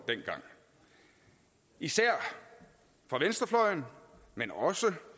dengang især fra venstrefløjen men også